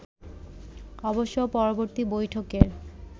অবশ্য পরবর্তী বৈঠকের